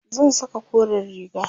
zan Saka koren riga